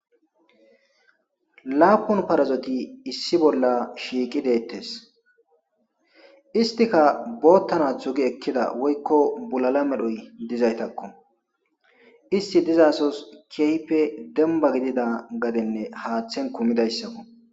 laapun parzoti issi bolla shiiqi deettes istika boottanathu gi ekkida woykko bulala medhoy dizaytakko isti dizaasos keehipe demba gidida gadenne haaththen kumidayssakko